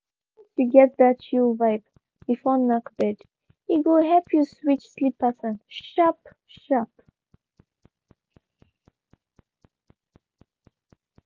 once you get that chill vibe before knack bed e go help you switch sleep pattern sharp-sharp.